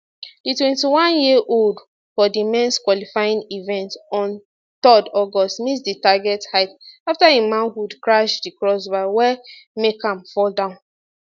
di twenty one yearold for di mens qualifying event on three august miss di target height afta im manhood crash di crossbar wey make am fall down